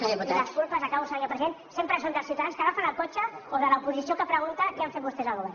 i les culpes acabo senyor president sempre són dels ciutadans que agafen el cotxe o de l’oposició que pregunta què han fet vostès al govern